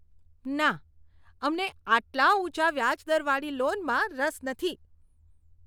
ના! અમને આટલા ઊંચા વ્યાજ દરવાળી લોનમાં રસ નથી.